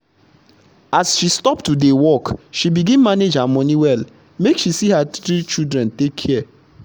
as she stop to dey workshe begin manage her money wellmake she see her three children take care.